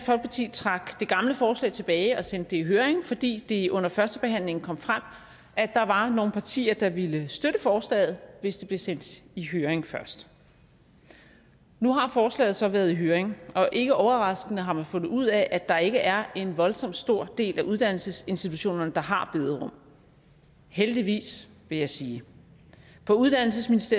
trak det gamle forslag tilbage og sendte det i høring fordi det under førstebehandlingen kom frem at der var nogle partier der ville støtte forslaget hvis det blev sendt i høring først nu har forslaget så været i høring og ikke overraskende har man fundet ud af at der ikke er en voldsomt stor del af uddannelsesinstitutionerne der har bederum heldigvis vil jeg sige på uddannelses